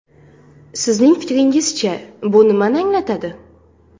Sizning fikringizcha, bu nimani anglatadi?